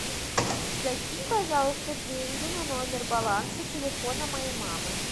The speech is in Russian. закинь пожалуйста деньги на номер баланса телефона моей мамы